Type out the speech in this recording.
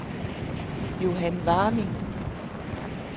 Johan Warming